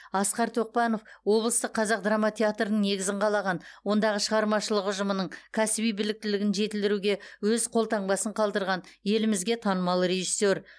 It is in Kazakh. асқар тоқпанов облыстық қазақ драма театрының негізін қалаған ондағы шығармашылық ұжымының кәсіби біліктілігін жетілдіруге өз қолтаңбасын қалдырған елімізге танымал режиссер